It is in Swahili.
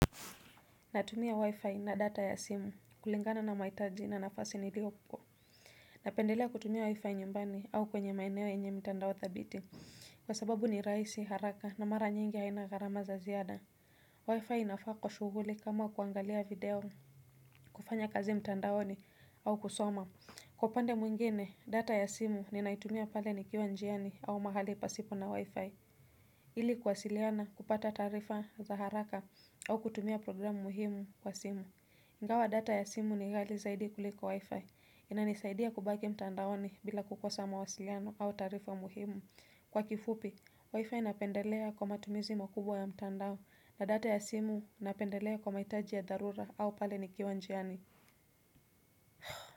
Natumia wi-fi na data ya simu kulingana na mahitaji na nafasi niliopo. Napendelea kutumia wi-fi nyumbani au kwenye maeneo yenye mtandao thabiti kwa sababu ni rahisi, haraka na mara nyingi haina gharama za ziada Wi-fi inafaa kwa shuguli kama kuangalia video, kufanya kazi mtandaoni au kusoma Kwa upande mwingine data ya simu ninaitumia pale nikiwa njiani au mahali pasipo na wi-fi ili kuwasiliana, kupata taarifa za haraka au kutumia programu muhimu kwa simu Ingawa data ya simu ni ghali zaidi kuliko Wi-Fi inanisaidia kubaki mtandaoni bila kukosa mawasiliano au taarifa muhimu. Kwa kifupi, Wi-Fi napendelea kwa matumizi makubwa ya mtandao na data ya simu napendelea kwa mahitaji ya dharura au pale nikiwa njiani.